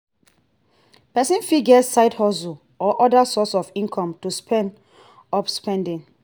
person fit get side hustle or oda sources of income to speed up savings